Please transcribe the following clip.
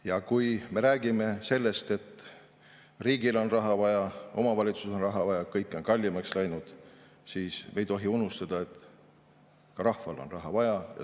Ja kui me räägime sellest, et riigil on raha vaja, omavalitsustel on raha vaja, kõik on kallimaks läinud, siis me ei tohi unustada, et ka rahval on raha vaja.